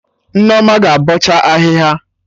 Nneoma ga-abọcha ahịhịa